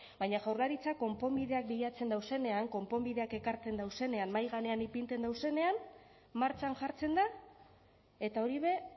baina jaurlaritzak konponbideak bilatzen dauzenean konponbideak ekartzen dauzenean mahai gainean ipintzen dauzenean martxan jartzen da eta hori be